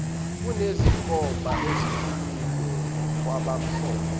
kunezinkomba eziqinile kwabamhlophe